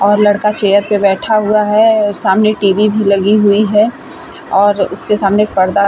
और लड़का चेयर पर बैठा हुआ है। सामने टेबल भी लगी हुई है और उसके सामने पर्दा --